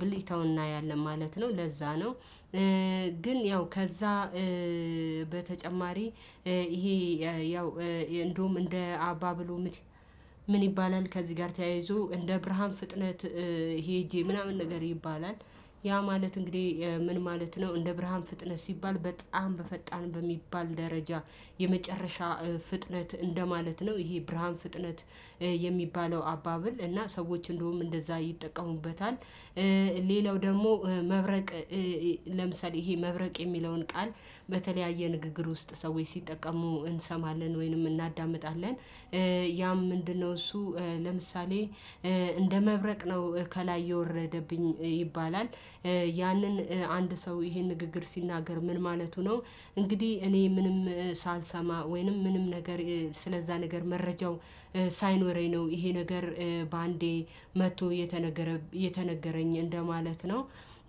ብልጭታውን እናያለን ማለት ነው ለዛ ነው። ግን ያው ከዛ በተጨማሪ ይሄ ያው እንደውም እንደ አባ ብሎ ምን ይባላል ከዚህ ጋር ተያይዞ እንደ ብርሃን ፍጥነት ሄጄ ምናምን ነገር ይባላል። ያ ማለት እንግዲህ ምን ማለት ነው? እንደ ብርሃን ፍጥነት ሲባል በጣም በፈጣን በሚባል ደረጃ የመጨረሻ ፍጥነት እንደማለት ነው። ይሄ ብርሃን ፍጥነት የሚባለው አባብል እና ሰዎች እንደውም እንደዛ ይጠቀሙበታል። ሌላው ደግሞ መብረቅ ለምሳሌ ይሄ መብረቅ የሚለውን ቃል በተለያየ ንግግር ውስጥ ሰዎች ሲጠቀሙ እንሰማለን ወይንም እናዳምጣለን። ያም ምንድነው? እሱ ለምሳሌ እንደ መብረቅ ነው ከላይ የወረደብኝ ይባላል። ያንን አንድ ሰው ይሄን ንግግር ሲናገር ምን ማለቱ ነው? እንግዲህ እኔ ምንም ሳልሰማ ወይንም ምንም ነገር ስለዛ ነገር መረጃው ሳይኖረኝ ነው ይሄ ነገር በአንዴ መጥቶ የተነገረ የተነገረኝ እንደማለት ነው።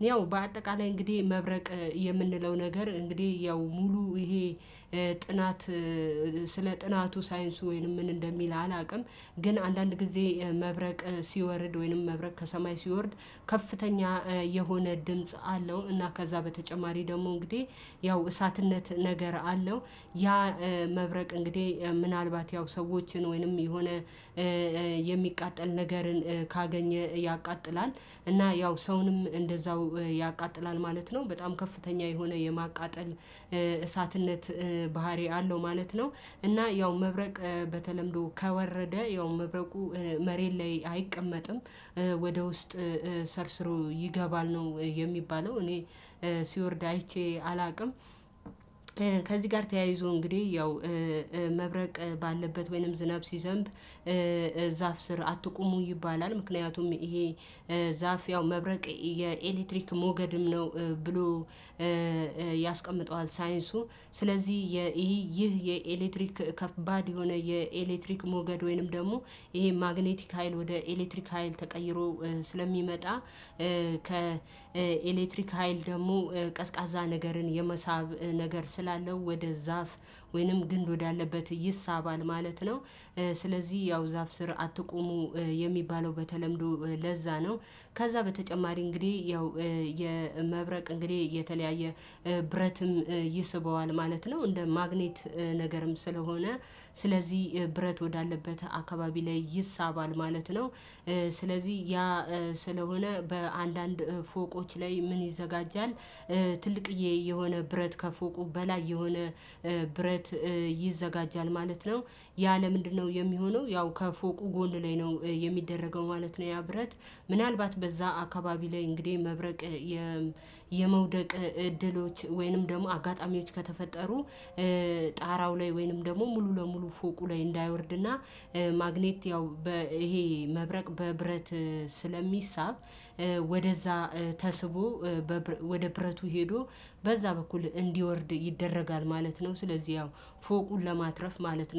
ያው በአጠቃላይ እንግዲህ መብረቅ የምንለው ነገር እንግዲህ ያው ሙሉ ይሄ ጥናት ስለ ጥናቱ ሳይንሱ ወይንም ምን እንደሚል አላውቅም። ግን አንዳንድ ጊዜ መብረቅ ሲወርድ ወይንም መብረቅ ከሰማይ ሲወርድ ከፍተኛ የሆነ ድምጽ አለው እና ከዛ በተጨማሪ ደግሞ እንግዲህ ያው እሳትነት ነገር አለው። ያ መብረቅ እንግዲህ ምናልባት ያው ሰዎችን ወይንም የሆነ የሚቃጠል ነገርን ካገኘ ያቃጥላል እና ያው ሰውንም እንደዛው ያቃጥላል ማለት ነው። በጣም ከፍተኛ የሆነ የማቃጠል እሳትነት ባህሪ አለው ማለት ነው። እና ያው መብረቅ በተለምዶ ከወረደ ያው መብረቁ መሬት ላይ አይቀመጥም። ወደ ውስጥ ሰርሰሮ ይገባል ነው የሚባለው እኔ ሲወርድ አይቼ አላውቅም። ከዚህ ጋር ተያይዞ እንግዲህ ያው መብረቅ ባለበት ወይንም ዝናብ ሲዘንብ ዛፍ ስር አትቁሙ ይባላል ምክንያቱም ይሄ ዛፍ ያው መብረቅ የኤሌክትሪክ ሞገድም ነው። ብሎ ያስቀምጠዋል ሳይንሱ ስለዚህ ይህ ይህ የኤሌክትሪክ ከባድ የሆነ የኤሌክትሪክ ሞገድ ወይንም ደግሞ ይሄ ማግኔቲክ ሀይል ወደ ኤሌክትሪክ ሀይል ተቀይሮ ስለሚመጣ። ከኤሌክትሪክ ሀይል ደግሞ ቀዝቃዛ ነገርን የመሳብ ነገር ስላለው ወደ ዛፍ ወይንም ግንብ ወዳለበት ይሳባል ማለት ነው። ስለዚህ ያው ዛፍ ስር አትቁሙ የሚባለው በተለምዶ ለዛ ነው። ከዛ በተጨማሪ እንግዲህ ያው የመብረቅ እንግዲህ የተለያየ ብረትም ይስበዋል ማለት ነው። እንደ ማግኔት ነገርም ስለሆነ ስለዚህ ብረት ወዳለበት አካባቢ ላይ ይሳባል ማለት ነው። ስለዚህ ያ ስለሆነ በአንዳንድ ፎቆች ላይ ምን ይዘጋጃል? ትልቅ የሆነ ብረት ከፎቁ በላይ የሆነ ብረት ይዘጋጃል ማለት ነው። ያ ለምንድነው የሚሆነው? ያው ከፎቁ ጎን ላይ ነው የሚደረገው ማለት ነው። ያ ብረት ምናልባት በዛ አካባቢ ላይ እንግዲህ መብረቅ የመውደቅ እድሎች ወይንም ደግሞ አጋጣሚዎች ከተፈጠሩ ጣራው ላይ ወይንም ደግሞ ሙሉ ለሙሉ ፎቁ ላይ እንዳይወርድና ማግኔት ያው ይሄ መብረቅ በብረት ስለሚሳብ። ወደዛ ተስቦ ወደ ብረቱ ሄዶ በዛ በኩል እንዲወርድ ይደረጋል ማለት ነው። ስለዚህ ያው ፎቁን ለማትረፍ ማለት ነው